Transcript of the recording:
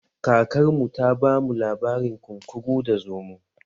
Kakar mu ta ba mu labarin kunkuru da zomo